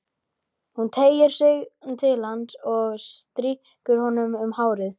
Hún teygir sig til hans og strýkur honum um hárið.